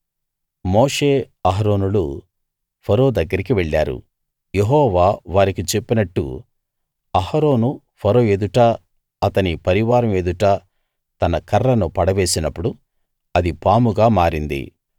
మోషే అహరోనులు ఫరో దగ్గరికి వెళ్ళారు యెహోవా వారికి చెప్పినట్టు అహరోను ఫరో ఎదుటా అతని పరివారం ఎదుటా తన కర్రను పడవేసినప్పుడు అది పాముగా మారింది